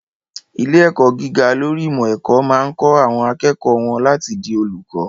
Ilé-ẹ̀kọ́ gíga lórí ìmọ̀-ẹ̀kọ́ máa kọ́ àwọn akẹ́kọ̀ọ́ wọ́n láti di olùkọ́.